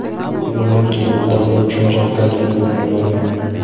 Men uning tug‘uruq davri uchun javobgarlikni bo‘ynimga ololmayman.